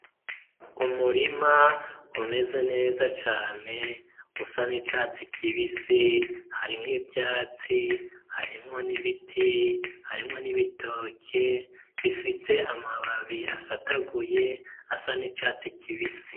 Umurima umeze neza cane usa n'icatsi kibisi harimwo ivyatsi harimwo n'ibiti harimwo n'ibitoke bifitse amababi asataguye asa n'icatsi kibisi.